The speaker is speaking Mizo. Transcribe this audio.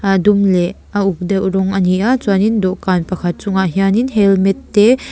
a dum leh a uk deuh rawng a ni a chuan in dawhkan pakhat chungah hian in helmet te--